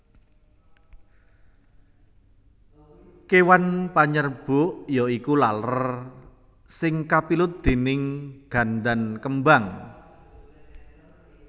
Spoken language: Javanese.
Kéwan panyerbuk ya iku laler sing kapilut déning gandan kembang